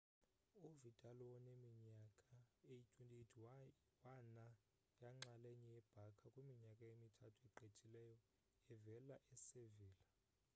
uvidal woneminyaka eyi-28 wana yinxalenye ye-barca kwiminyaka emithathu egqithileyo evela e-sevilla